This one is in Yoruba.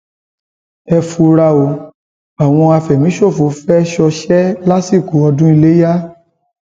ẹ fura o àwọn àfẹmíṣòfò fẹẹ ṣọṣẹ lásìkò ọdún ilẹyà